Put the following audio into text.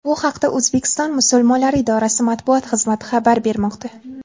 Bu haqda O‘zbekiston musulmonlari idorasi matbuot xizmati xabar bermoqda.